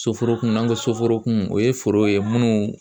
soforokun n'an ko soforokun o ye foro ye minnu